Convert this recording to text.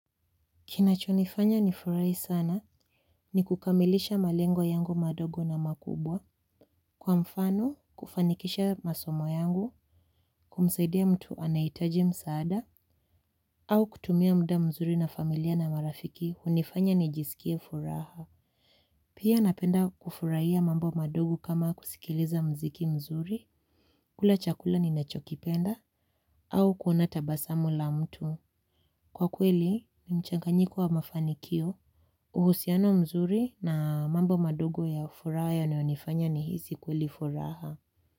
Kinachonifanya nifurahi sana ni kukamilisha malengo yangu madogo na makubwa. Kwa mfano, kufanikisha masomo yangu, kumsaidia mtu anahitaji msaada, au kutumia muda mzuri na familia na marafiki hunifanya nijisikie furaha. Pia napenda kufurahia mambo madogo kama kusikiliza muziki mzuri, kula chakula ninachokipenda, au kuona tabasamu la mtu. Kwa kweli, ni mchanganyiko wa mafanikio. Uhusiano mzuri na mambo madogo ya furaha yanayonifanya nihisi kweli furaha.